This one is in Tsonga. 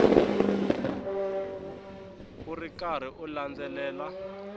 u ri karhi u landzelela